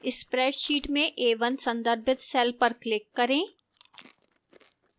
spreadsheet में a1 संदर्भित cell पर click करें